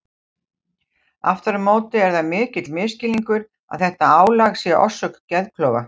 Aftur á móti er það mikill misskilningur að þetta álag sé orsök geðklofa.